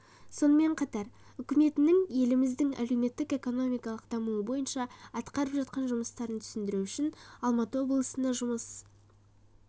сонымен қатар үкіметінің еліміздің әлеуметтік-экономикалық дамуы бойынша атқарып жатқан жұмыстарын түсіндіру үшін алматы облысына жұмыс